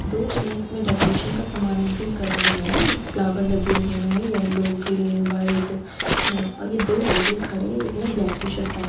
दो जने इसमें डेकोरेशन का सामान काम भी कर रहे हैं जो फ्लावर लगे हुए हैं यल्लो ग्रीन व्हाइट अ ये दो लड़के खड़े है एक ने ब्लैक टी-शर्ट पहनी --